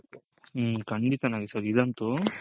ಹ್ಮ್ ಖಂಡಿತ ನಾಗೇಶ್ ಅವ್ರೆ ಇದಂತು